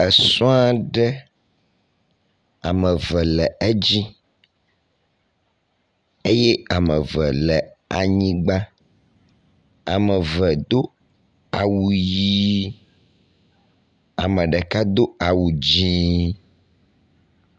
Esɔaɖe ameve le édzí eyɛ ameve le anyigbã, ameve dó awu yií, ameɖeka do awu dzĩi